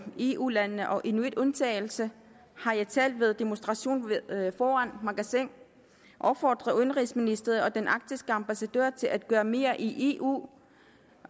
i eu landene og inuitundtagelsen har jeg talt ved demonstrationen foran magasin opfordret udenrigsministeriet og den arktiske ambassadør til at gøre mere i eu